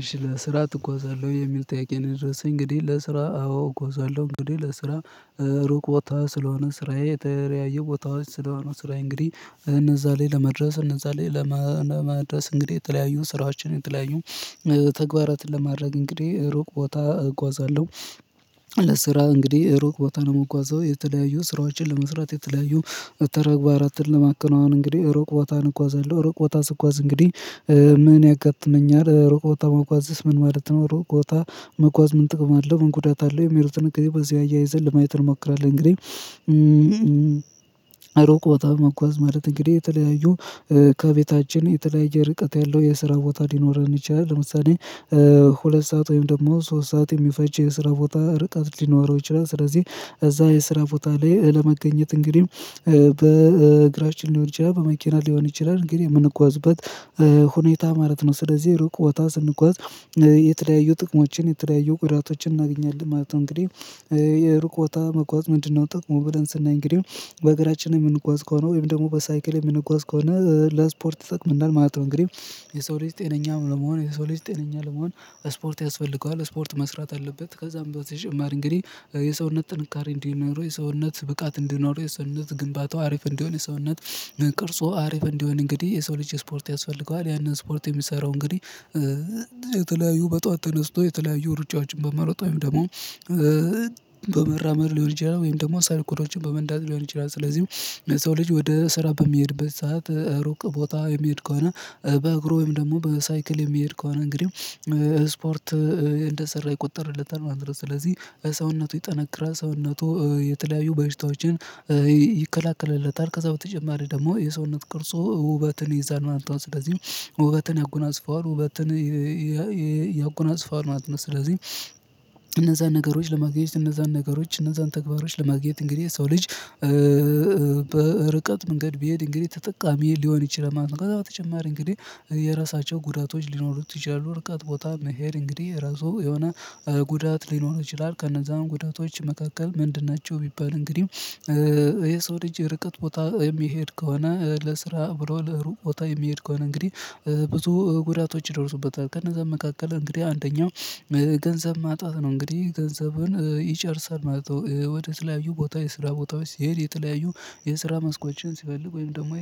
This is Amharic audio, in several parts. እሺ ለስራ ትጎዛለሁ የሚል ጠይቄ ነው የደረሰኝ እንግዲህ ለስራ አዎ እጋዛሎህ እንግዲህ ለስራ ሩቅ ቦታ ስለሆነ ስራዬ የተለያዬ ቦታዎች ስለሆኑ ስራዬ እንግዲህ እነዛ ላይ ለመድረስ እነዛ ላይ ለመድረስ ለማድረስ እንግዲህ የተለያዩ ስራዎችን የተለያዩ ተግባራትን ለማድረግ እንግዲህ ሩቅ ቦታ እጓዛለሁ። ለስራ እንግዲህ ሩቅ ቦታ ነው የምጓዘው የተለያዩ ስራዎችን ለመስራት የተለያዩ ተግባራትን ለማከናወን አሁን እንግዲህ ሩቅ ቦታን እጓዛለሁ ሩቅ ቦታ ስጓዝ እንግዲህ? ምን ያጋጥመኛል ሩቅ ቦታ መጓዝስ ምን ማለት ነው ሩቅ ቦታ መጓዝ ምን ጥቅም አለው ምን ጉዳት አለው? የሚለው ጥንቅል በዚህ አያይዘን ለማየት እንሞክራለን። እንግዲህ። ሩቅ ቦታ መጓዝ ማለት እንግዲህ የተለያዩ ከቤታችን የተለያየ ርቀት ያለው የስራ ቦታ ሊኖረን ይችላል። ለምሳሌ ሁለት ሰዓት ወይም ደግሞ ሶስት ሰዓት የሚፈጅ የስራ ቦታ ርቀት ሊኖረው ይችላል። ስለዚህ እዛ የስራ ቦታ ላይ ለመገኘት እንግዲህ በእግራችን ሊሆን ይችላል በመኪና ሊሆን ይችላል እንግዲህ የምንጓዝበት ሁኔታ ማለት ነው። ስለዚህ ርቅ ቦታ ስንጓዝ የተለያዩ ጥቅሞችን የተለያዩ ጉዳቶችን እናገኛለን ማለት ነው። እንግዲህ የሩቅ ቦታ መጓዝ ምንድነው? ጥቅሙን ብለን ስናይ እንግዲህ በእግራችን የምንጓዝ ከሆነ ወይም ደግሞ በሳይክል የምንጓዝ ከሆነ ለስፖርት ይጠቅመናል ማለት ነው። እንግዲህ የሰው ልጅ ጤነኛም ለመሆን የሰው ልጅ ጤነኛ ለመሆን ስፖርት ያስፈልገዋል ስፖርት መስራት አለበት። ከዛም በተጨማሪ እንግዲህ የሰውነት ጥንካሬ እንዲኖረው የሰውነት ብቃት እንዲኖረው የሰውነት ግንባታው አሪፍ እንዲሆን የሰውነት ቅርጹ አሪፍ እንዲሆን እንግዲህ የሰው ልጅ ስፖርት ያስፈልገዋል። ያንን ስፖርት የሚሰራው እንግዲህ የተለያዩ በጧዋት ተነስቶ የተለያዩ ሩጫዎችን በመሮጥ ወይም ደግሞ በመራመድ ሊሆን ይችላል ወይም ደግሞ ሳይክሎችን በመንዳት ሊሆን ይችላል። ስለዚህ የሰው ልጅ ወደ ስራ በሚሄድበት ሰዓት ሩቅ ቦታ የሚሄድ ከሆነ በእግሩ ወይም ደግሞ በሳይክል የሚሄድ ከሆነ እንግዲህ ስፖርት እንደሰራ ይቆጠርለታል ማለት ነው። ስለዚህ ሰውነቱ ይጠነክራል ሰውነቱ የተለያዩ በሽታዎችን ይከለክልለታል ከዛ በተጨማሪ ደግሞ የሰውነት ቅርጹ ውበትን ይዛል አንተ ስለዚህ ውበትን ያጎናጽፈዋል ውበትን ያጎናጽፈዋል ማለት ነው። ስለዚህ እነዛን ነገሮች ለማግኘት እነዛን ነገሮች እነዛን ተግባሮች ለማግኘት እንግዲህ ሰው ልጅ በርቀት መንገድ ቢሄድ እንግዲህ ተጠቃሚ ሊሆን ይችላል ማለት ነው። በተጨማሪ እንግዲህ የራሳቸው ጉዳቶች ሊኖሩት ይችላሉ። ርቃት ቦታ መሄድ እንግዲህ ራሱ የሆነ ጉዳት ሊኖር ይችላል። ከነዛም ጉዳቶች መካከል ምንድን ናቸው? ቢባል እንግዲህ የሰው ልጅ ርቀት ቦታ የሚሄድ ከሆነ ለስራ ብሎ ለሩቅ ቦታ የሚሄድ ከሆነ እንግዲህ ብዙ ጉዳቶች ይደርሱበታል ከነዛ መካከል እንግዲህ አንደኛው ገንዘብ ማጣት ነው። እንግዲህ ገንዘቡን ይጨርሳል ማለት ወደ የተለያዩ ቦታ የስራ ቦታዎች ሲሄድ የተለያዩ የስራ መስኮችን ሲፈልግ ወይም ደግሞ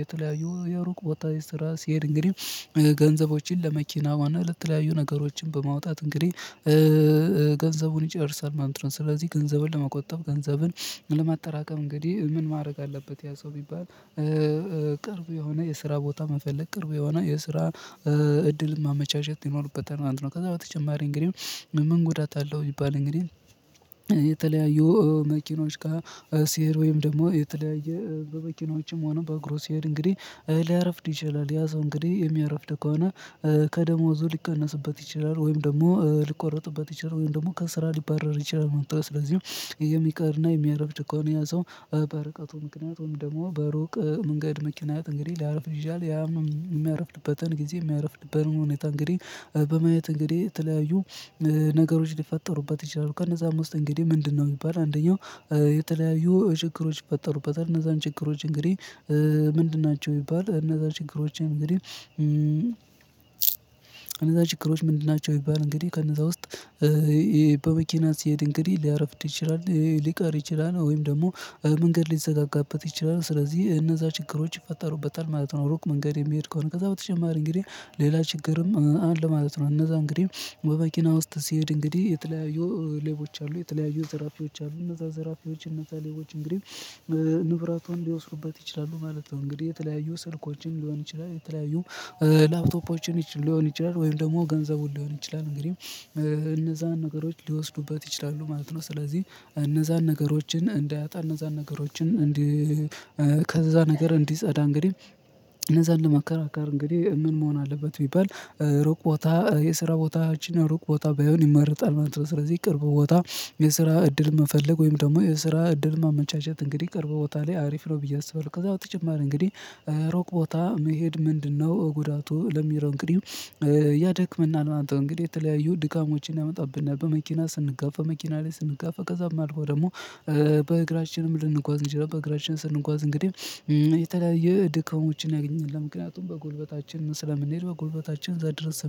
የተለያዩ የሩቅ ቦታ ሲስራ ሲሄድ እንግዲህ ገንዘቦችን ለመኪና ለተለያዩ ነገሮችን በማውጣት እንግዲህ ገንዘቡን ይጨርሳል። ማለት ስለዚህ ገንዘብን ለመቆጠብ ገንዘብን ለማጠራቀም እንግዲህ ምን ማድረግ አለበት? ያ ሰው የሚባል ቅርብ የሆነ የስራ ቦታ መፈለግ ቅርብ የሆነ የስራ እድል ማመቻቸት ይኖርበታል። አንድ ነው ከዛ በተጨማሪ እንግዲህ ምን ጎዳት አለው? ቢባል እንግዲህ መኪኖች ጋር ሲሄድ ወይም ደግሞ የተለያየ በመኪኖችም ሆነ በእግሩ ሲሄድ እንግዲህ ሊያረፍድ ይችላል። ያ ሰው እንግዲህ የሚያረፍድ ከሆነ ከደሞዙ ሊቀነስበት ይችላል ወይም ደግሞ ሊቆረጥበት ይችላል ወይም ደግሞ ከስራ ሊባረር ይችላል ማለት ነው። ስለዚህም የሚቀርና የሚያረፍድ ከሆነ ነው ያ ሰው በርቀቱ ምክንያቱም ደግሞ በሩቅ መንገድ መኪና እንግዲህ ሊያረፍድ ይችላል ያም የሚያርፍድበትን ጊዜ ሚያረፍድበትን ሁኔታ እንግዲህ በማየት እንግዲህ የተለያዩ ነገሮች ሊፈጠሩበት ይችላሉ። ከነዛ ውስጥ እንግዲህ ምንድነው? ቢባል አንደኛው የተለያዩ ችግሮች ይፈጠሩበታል። እነዛን ችግሮች እንግዲህ ምንድን ናቸው? ቢባል እነዛ ችግሮችን እንግዲህ እነዛ ችግሮች ምንድን ናቸው? ቢባል እንግዲህ ከነዛ ውስጥ በመኪና ሲሄድ እንግዲህ ሊያረፍድ ይችላል ሊቀር ይችላል ወይም ደግሞ መንገድ ሊዘጋጋበት ይችላል ስለዚህ እነዛ ችግሮች ይፈጠሩበታል ማለት ነው። ሩቅ መንገድ የሚሄድ ከሆነ ከዛ በተጨማሪ እንግዲህ ሌላ ችግርም አለ ማለት ነው። እነዛ እንግዲህ በመኪና ውስጥ ሲሄድ እንግዲህ የተለያዩ ሌቦች አሉ የተለያዩ ዘራፊዎች አሉ እነዛ ዘራፊዎች እነዛ ሌቦች እንግዲህ ንብረቱን ሊወስዱበት ይችላሉ ማለት ነው። እንግዲህ የተለያዩ ስልኮችን ሊሆን ይችላል የተለያዩ ላፕቶፖችን ሊሆን ይችላል ወይም ደግሞ ገንዘቡን ሊሆን ይችላል እንግዲህ እነዛን ነገሮች ሊወስዱበት ይችላሉ ማለት ነው። ስለዚህ እነዛን ነገሮችን እንዳያጣ እነዛን ነገሮችን እንዲህ ከዛ ነገር እንዲጸዳ እንግዲህ እነዛን ለማከራከር እንግዲህ ምን መሆን አለበት? ቢበል ሩቅ ቦታ የስራ ቦታ እቺን ሩቅ ቦታ ባይሆን ይመረጣል። ማለት ስለዚህ ቅርቡ ቦታ የስራ እድል መፈለግ ወይም ደግሞ የስራ እድል ማመቻቸት እንግዲህ ቅርብ ቦታ ላይ አሪፍ ነው ብዬ አስባለሁ። ከዛ በተጨማሪ እንግዲህ ርቅ ቦታ መሄድ ምንድነው? ጉዳቱ ለሚለው እንግዲህ ማለት ነው። እንግዲህ የተለያዩ ድካሞችን ያመጣብናል በመኪና ስንጋፋ መኪና ላይ ስንጋፋ ከዛም አልፎ ደግሞ በእግራችንም ልንጓዝ እንችላለን። በግራችን ስንጓዝ እንግዲህ የተለያየ ድካሞችን ያገኘናል ምክንያቱም በጉልበታችን ስለምንሄድ በጉልበታችን ዛሬ ድረስ